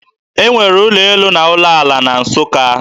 E nwere ụlọ elu na ụlọ ala na Nsụka